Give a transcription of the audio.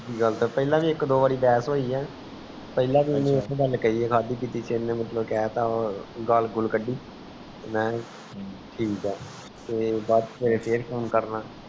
ਪਹਿਲਾ ਵੀ ਇਕ ਦੋ ਬਾਰ ਬੇਹਸ ਹੈ ਪਹਿਲਾ ਵੀ ਇਕ ਗੱਲ ਕਹਿ ਆ ਖਾਦੀ ਪੀਤੀ ਚ ਇਨੇ ਮਤਲਵ ਕੇਹ ਤਾ ਗਾਲ ਗੁਲ ਕੱਢੀ ਠੀਕ ਹੈ ਤੇ ਫੇਰ phone ਕਰਨਾ